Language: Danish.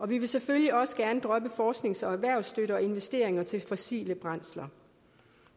vi vil selvfølgelig også gerne droppe forsknings og erhvervsstøtte og investeringer til af fossile brændsler